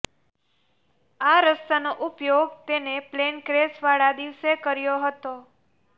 આ રસ્તાનો ઉપયોગ તેને પ્લેન ક્રેશવાળા દિવસે કર્યો હતો